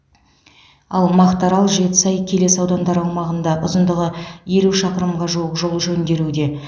ал мақтаарал жетісай келес аудандары аумағында ұзындығы елу шақырымға жуық жол жөнделуде